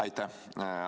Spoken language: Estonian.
Aitäh!